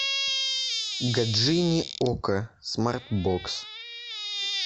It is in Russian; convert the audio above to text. гаджини окко смарт бокс